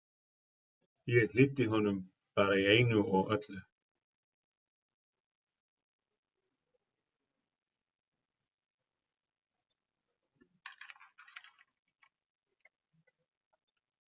Ég hlýddi honum bara í einu og öllu.